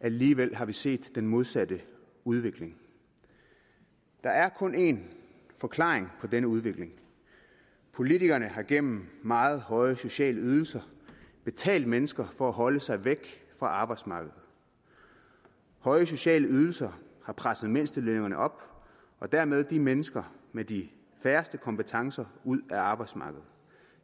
alligevel har vi set den modsatte udvikling der er kun én forklaring på denne udvikling politikerne har gennem meget høje sociale ydelser betalt mennesker for at holde sig væk fra arbejdsmarkedet høje sociale ydelser har presset mindstelønningerne op og dermed de mennesker med de færreste kompetencer ud af arbejdsmarkedet